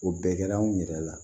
O bɛɛ kɛra anw yɛrɛ la